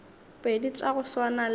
pedi tša go swana le